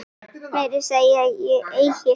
Meira segi ég eigi.